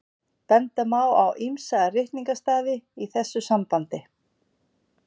benda má á ýmsa ritningarstaði í þessu sambandi